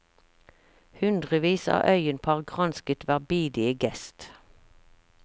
Hundrevis av øyenpar gransket hver bidige gest.